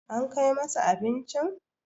an Kai masa abincin?